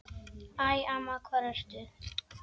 Æ, amma, hvar ertu?